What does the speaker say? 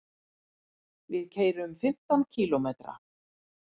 Við keyrum fimmtán kílómetra.